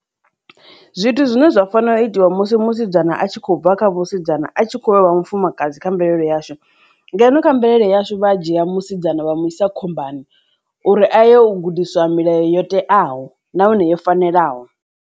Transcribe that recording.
Zwithu zwine zwa fanela u itiwa musi musidzana a tshi khou bva kha vhasidzana a tshi kho vha mufumakadzi kha mvelelo yashu ngeno kha mvelele yashu vha dzhia musidzana vha mu isa khombani uri a ye u gudiswa milayo yo teaho nahone yo fanelaho.